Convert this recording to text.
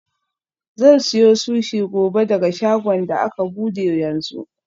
Zan siyo sushi gobe daga shagon da aka bude yanzu.